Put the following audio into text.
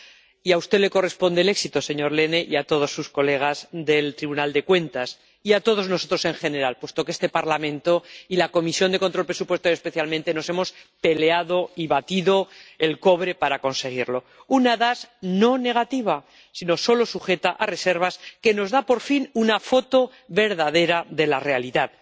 Y a usted le corresponde el éxito, señor Lehne, a todos sus colegas del Tribunal de Cuentas y a todos nosotros en general, puesto que este Parlamento y la Comisión de Control Presupuestario, especialmente, nos hemos peleado y batido el cobre para conseguirlo una opinión no negativa, sino solo sujeta a reservas, que nos da, por fin, una foto verdadera de la realidad.